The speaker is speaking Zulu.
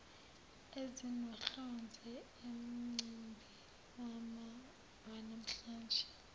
ezinohlonze umcimbi wanamhlanje